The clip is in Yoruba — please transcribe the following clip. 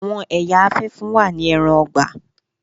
Àwọn ẹya afẹfun wa ni ẹran-ọgbà.